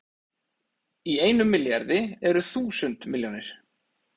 En í einum milljarði eru þúsund milljónir!